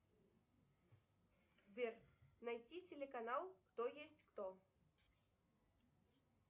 сбер найти телеканал кто есть кто